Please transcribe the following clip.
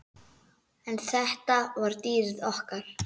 En þetta var dýrið okkar.